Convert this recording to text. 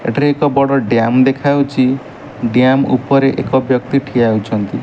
ଏଠାରେ ଏକ ବଡ ଡ୍ୟାମ୍ ଦେଖାଉଚି ଡ୍ୟାମ୍ ଉପରେ ଏକ ବ୍ୟକ୍ତି ଠିଆ ହୋଇଛନ୍ତି।